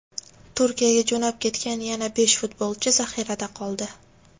Turkiyaga jo‘nab ketgan yana besh futbolchi zaxirada qoldi.